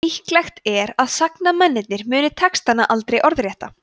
líklegt er að sagnamennirnir muni textana aldrei orðrétta